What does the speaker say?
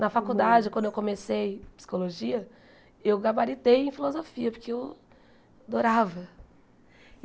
Na faculdade, quando eu comecei psicologia, eu gabaritei em filosofia, porque eu adorava.